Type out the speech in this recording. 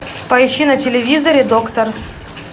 поищи на телевизоре доктор